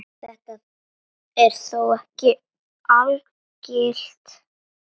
Þetta er þó ekki algilt.